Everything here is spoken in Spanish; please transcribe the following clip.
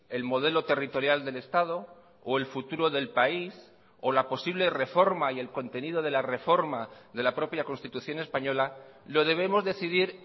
el modelo territorial del estado o el futuro del país o la posible reforma y el contenido de la reforma de la propia constitución española lo debemos decidir